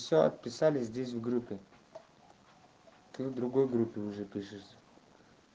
сё писали здесь в группе ты в другой группе уже пишешся